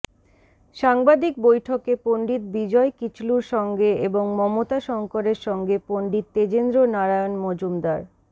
সাংবাদিক বৈঠকে পণ্ডিত বিজয় কিচলুর সঙ্গে এবং মমতা শঙ্করের সঙ্গে পণ্ডিত তেজেন্দ্রনারায়ণ মজুমদার